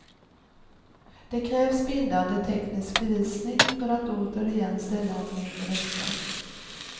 Det krävs bindande teknisk bevisning för att återigen ställa honom inför rätta.